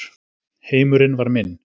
Heimurinn var minn.